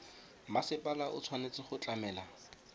mmasepala o tshwanetse go tlamela